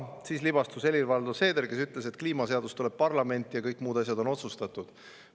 Siis libastus Helir-Valdor Seeder, kes ütles, et kliimaseadus tuleb parlamenti, aga kõik muud asjad on otsustatud.